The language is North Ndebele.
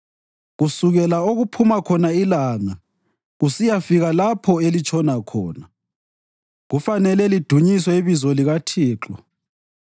Kusukela okuphuma khona ilanga kusiyafika lapho elitshona khona, kufanele lidunyiswe ibizo likaThixo.